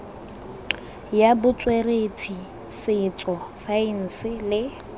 ya botsweretshi setso saense le